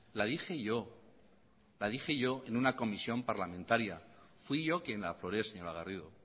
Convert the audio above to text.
la dije yo en una comisión parlamentaria fui yo quien la afloré señora garrido